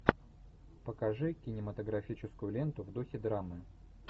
покажи кинематографическую ленту в духе драмы